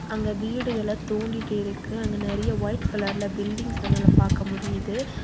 அங்க வீடு எல தோண்டீட்டு இருக்கு அங்க நெறைய ஒய்ட் கலர்ல பில்டிங்ஸ் நம்ளால பாக்க முடியிது.